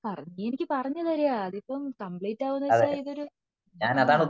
പറഞ്ഞ തര ഇതിപ്പോ കമ്പ്ലീറ്റ് അവോന്ന് വച്ച ഇതൊരു ആഹ്ഹ